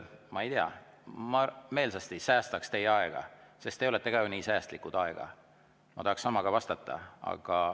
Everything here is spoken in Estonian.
Ma ei tea, ma meelsasti säästaks teie aega, sest ka teie olete ju ajaga nii säästlikud, ma tahaksin samaga vastata.